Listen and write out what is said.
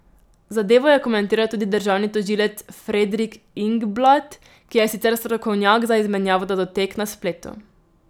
Zadevo je komentiral tudi državni tožilec Fredrik Ingblad, ki je sicer strokovnjak za izmenjavo datotek na spletu.